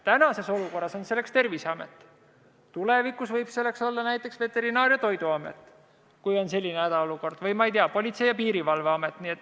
Praeguses olukorras on selleks Terviseamet, tulevikus võib selleks olla näiteks Veterinaar- ja Toiduamet või, ma ei tea, Politsei- ja Piirivalveamet.